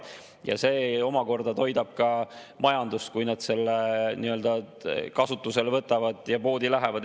See omakorda toidab ka majandust, kui nad selle kasutusele võtavad ja poodi lähevad.